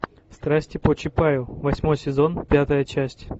страсти по чапаю восьмой сезон пятая часть